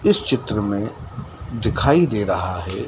इस चित्र में दिखाई दे रहा है।